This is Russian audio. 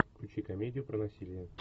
включи комедию про насилие